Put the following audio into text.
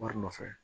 Wari nɔfɛ